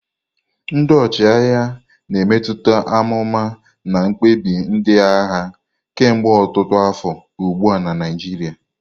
Ndị ọchịagha na-emetụta amụma na mkpebi ndị agha kemgbe ọtụtụ afọ ugbu a na Naijiria.